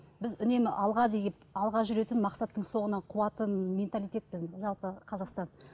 біз үнемі алға деген алға жүретін мақсаттың соңынан қуатын менталитетті жалпы қазақстан